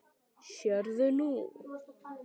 Sérðu nú?